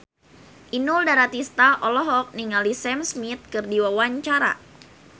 Inul Daratista olohok ningali Sam Smith keur diwawancara